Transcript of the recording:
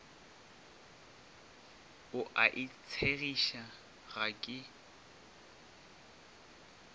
o a itshegiša ga ke